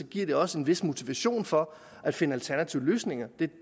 giver det også en vis motivation for at finde alternative løsninger det er